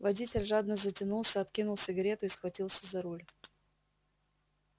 водитель жадно затянулся откинул сигарету и схватился за руль